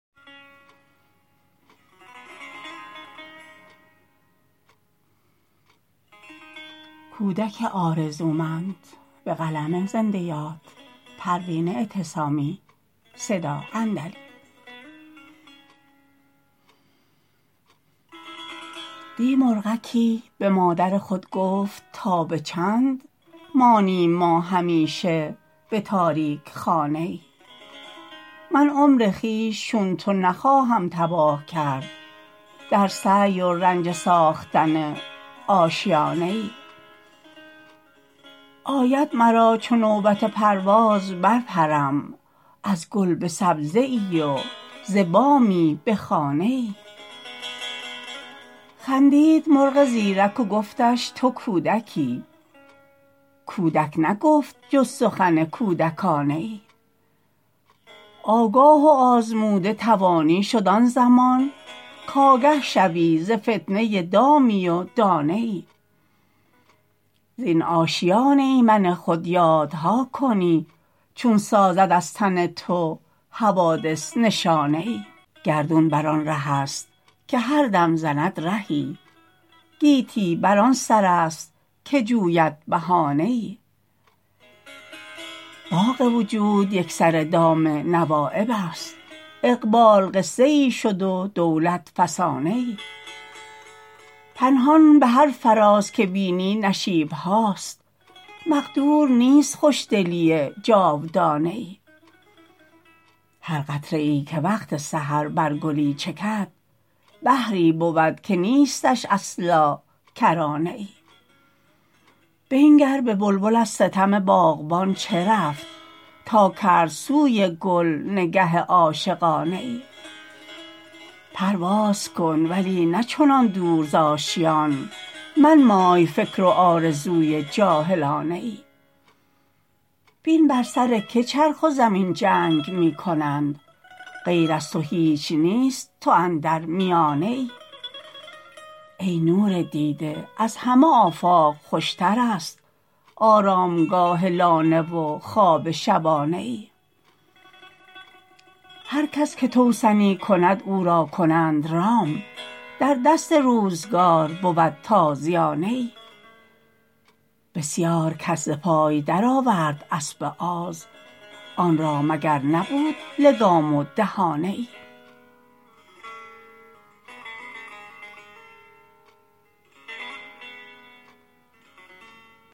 دی مرغکی بمادر خود گفت تا بچند مانیم ما همیشه بتاریک خانه ای من عمر خویش چون تو نخواهم تباه کرد در سعی و رنج ساختن آشیانه ای آید مرا چو نوبت پرواز بر پرم از گل بسبزه ای و ز بامی بخانه ای خندید مرغ زیرک و گفتش تو کودکی کودک نگفت جز سخن کودکانه ای آگاه و آزموده توانی شد آن زمان کگه شوی ز فتنه دامی و دانه ای زین آشیان ایمن خود یادها کنی چون سازد از تو حوادث نشانه ای گردون بر آن رهست که هر دم زند رهی گیتی بر آن سر است که جوید بهانه ای باغ وجود یکسره دام نوایب است اقبال قصه ای شد و دولت فسانه ای پنهان بهر فراز که بینی نشیبهاست مقدور نیست خوشدلی جاودانه ای هر قطره ای که وقت سحر بر گلی چکد بحری بود که نیستش اصلا کرانه ای بنگر به بلبل از ستم باغبان چه رفت تا کرد سوی گل نگه عاشقانه ای پرواز کن ولی نه چنان دور ز آشیان منمای فکر و آرزوی جاهلانه ای بین بر سر که چرخ و زمین جنگ میکنند غیر از تو هیچ نیست تو اندر میانه ای ای نور دیده از همه آفاق خوشتر است آرامگاه لانه و خواب شبانه ای هر کس که توسنی کند او را کنند رام در دست روزگار بود تازیانه ای بسیار کس ز پای در آورد اسب آز آن را مگر نبود لگام و دهانه ای